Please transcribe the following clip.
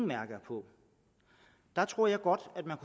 mærke på tror jeg godt at man